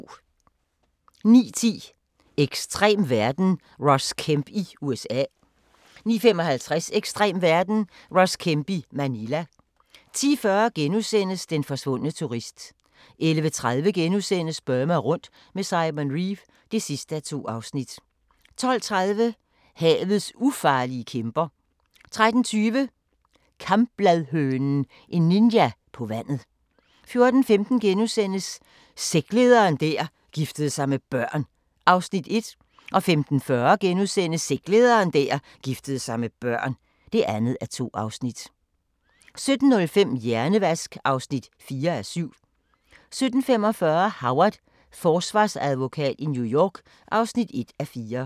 09:10: Ekstrem verden – Ross Kemp i USA 09:55: Ekstrem verden – Ross Kemp i Manila 10:40: Den forsvundne turist * 11:30: Burma rundt med Simon Reeve (2:2)* 12:30: Havets ufarlige kæmper 13:20: Kambladhønen – en ninja på vandet 14:15: Sektlederen der giftede sig med børn (1:2)* 15:40: Sektlederen der giftede sig med børn (2:2)* 17:05: Hjernevask (4:7) 17:45: Howard – forsvarsadvokat i New York (1:4)